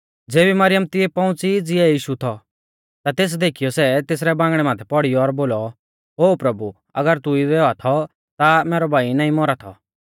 ज़ेबी मरियम तिऐ पौउंच़ी ज़िऐ यीशु थौ ता तेस देखीयौ ई तेसरै बांगणै माथै पौड़ी और बोलौ ओ प्रभु अगर तू इदै औआ थौ ता मैरौ भाई नाईं मौरा थौ